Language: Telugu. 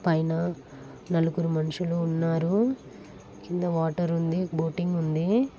పైన నలుగురు మనుషులు ఉన్నారు. కింద వాటర్ ఉంది బోటింగ్ ఉంది.